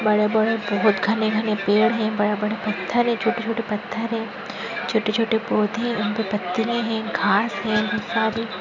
बड़े बड़े बहुत घने घने पेड़ है बड़े बड़े पत्थर है छोटे छोटे पत्थर है। छोटे छोटे पौधे उनपे पत्थरे है घास है। --